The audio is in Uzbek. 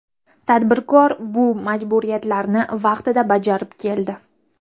Tadbirkor bu majburiyatlarni vaqtida bajarib keldi.